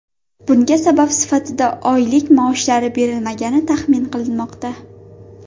Bunga sabab sifatida oylik maoshlari berilmagani taxmin qilinmoqda.